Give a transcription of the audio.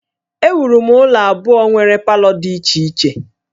Ewuru m ụlọ abụọ nwere palọ dị iche iche